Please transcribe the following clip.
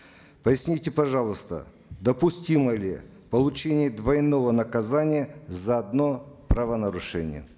поясните пожалуйста допустимо ли получение двойного наказания за одно правонарушение